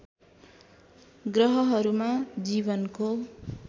ग्रहहरूमा जीवनको